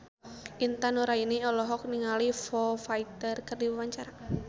Intan Nuraini olohok ningali Foo Fighter keur diwawancara